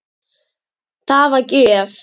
Það var gjöf.